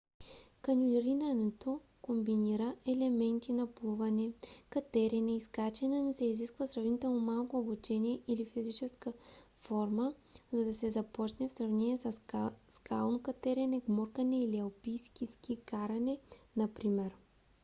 каньонирането комбинира елементи на плуване катерене и скачане но се изисква сравнително малко обучение или физическа форма за да се започне в сравнение със скално катерене гмуркане или алпийско ски каране например